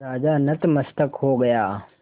राजा नतमस्तक हो गया